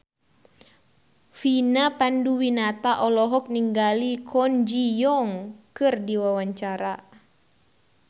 Vina Panduwinata olohok ningali Kwon Ji Yong keur diwawancara